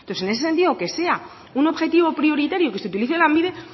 entonces en ese sentido que sea un objetivo prioritario que se utilice a lanbide